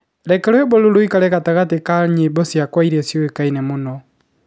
Reke rwĩmbo rũrũ rũikare gatagatĩ ka rwĩmbo ciakwa iria ciukaine mũno